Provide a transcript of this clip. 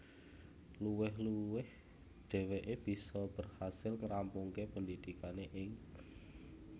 Luwih luwih dheweke bisa berhasil ngrampungke pendidikane ing